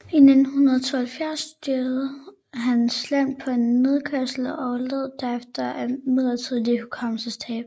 I 1972 styrtede han slemt på en nedkørsel og led derefter af midlertidigt hukommelsestab